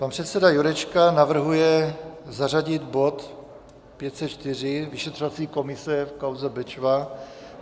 Pan předseda Jurečka navrhuje zařadit bod 504, vyšetřovací komise v kauze Bečva.